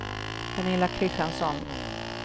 Pernilla Kristiansson